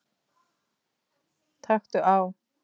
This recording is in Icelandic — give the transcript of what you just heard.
Taktu á!